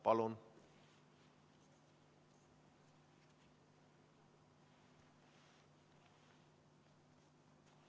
Palun!